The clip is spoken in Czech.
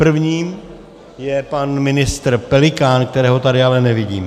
První je pan ministr Pelikán, kterého tady ale nevidím.